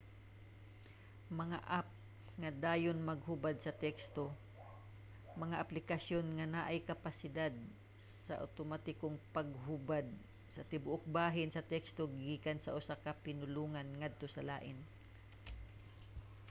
mga app nga dayon maghubad sa teksto – mga aplikasyon nga naay kapabilidad sa awtomatikong paghubad sa tibuok bahin sa teksto gikan sa usa ka pinulongan ngadto sa lain